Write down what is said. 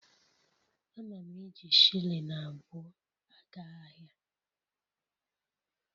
Ana m eji shilling abụọ aga ahịa